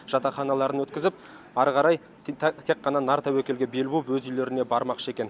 жатақханаларын өткізіп ары қарай тек қана нар тәуекелге бел буып өз үйлеріне бармақшы екен